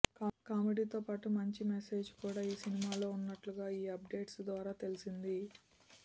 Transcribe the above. కామెడీతో పాటు మంచి మెసేజ్ కూడా ఈ సినిమాలో ఉన్నట్లుగా ఈ అప్డేట్స్ ద్వారా తెలిసింది